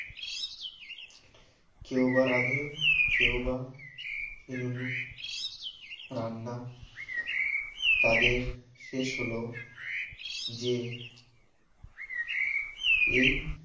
কেউবা রাঁধে কেউবা রান্না তাদের শেষ হল যে এই